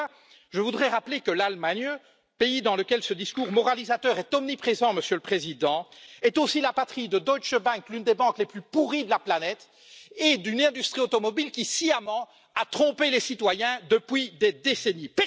À ceux là, je voudrais rappeler que l'Allemagne, pays dans lequel ce discours moralisateur est omniprésent, Monsieur le Président, est aussi la patrie de Deutsche Bank, l'une des banques les plus pourries de la planète et d'une industrie automobile qui a sciemment trompé les citoyens depuis des décennies.